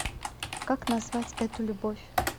как назвать эту любовь